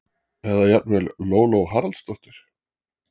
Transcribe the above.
eða jafnvel: Lóló Haraldsdóttir!